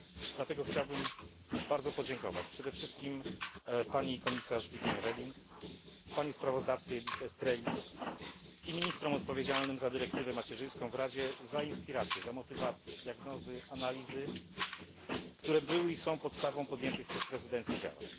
Dlatego chciałbym bardzo podziękować przede wszystkim pani komisarz Viviane Reding, pani sprawozdawczyni Estreli i ministrom odpowiedzialnym za dyrektywę macierzyńską w Radzie za inspirację, za motywację, za diagnozy i analizy, które były i są podstawą podjętych przez prezydencję działań.